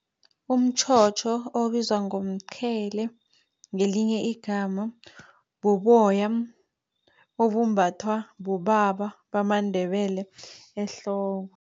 Umtjhotjho obizwa ngomqhele ngelinye igama, buboya obumbathwa bobaba bamaNdebele ehloko.